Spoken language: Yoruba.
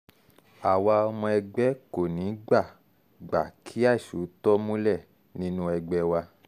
àwa ọmọ ẹgbẹ́ kò ní í gbà gbà kí àìṣòótọ́ múlẹ̀ nínú ẹgbẹ́ wa